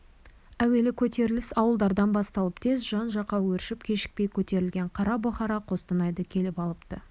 әуелі көтеріліс ауылдардан басталып тез жан-жаққа өршіп кешікпей көтерілген қара бұқара қостанайды келіп алыпты